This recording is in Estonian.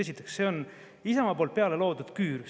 Esiteks, see on Isamaa loodud küür.